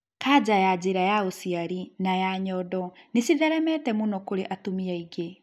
Kaja ya njĩra ya ũciari na ya nyondo nĩcitheremete mũno kũrĩ atumia aingĩ